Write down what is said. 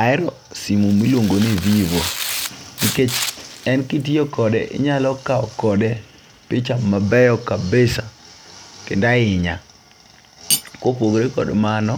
Ahero simu miluongo ni vivo nikech en kitiyo kode inyalo kawo kode picha mabeyo kabisa kendo ahinya. Kopogore kod mano